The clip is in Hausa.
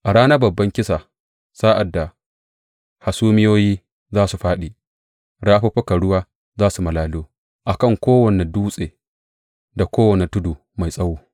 A ranar babban kisa, sa’ad da hasumiyoyi za su fāɗi, rafuffukan ruwa za su malalo a kan kowane dutse da kowane tudu mai tsawo.